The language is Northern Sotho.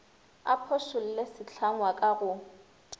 a phošolle sehlangwa ka go